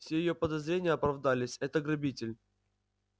все её подозрения оправдались это грабитель